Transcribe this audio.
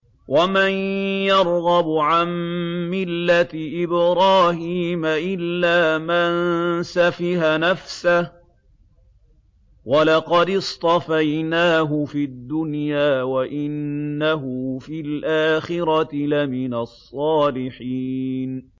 وَمَن يَرْغَبُ عَن مِّلَّةِ إِبْرَاهِيمَ إِلَّا مَن سَفِهَ نَفْسَهُ ۚ وَلَقَدِ اصْطَفَيْنَاهُ فِي الدُّنْيَا ۖ وَإِنَّهُ فِي الْآخِرَةِ لَمِنَ الصَّالِحِينَ